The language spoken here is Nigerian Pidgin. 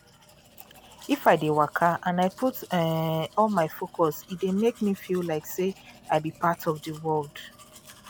if i dey waka and i put um all my focus e dey make me feel like say i be part of the world